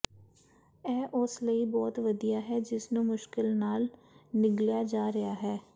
ਇਹ ਉਸ ਲਈ ਬਹੁਤ ਵਧੀਆ ਹੈ ਜਿਸਨੂੰ ਮੁਸ਼ਕਲ ਨਾਲ ਨਿਗਲਿਆ ਜਾ ਰਿਹਾ ਹੈ